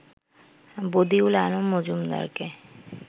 Badiul Alam মজুমদারকে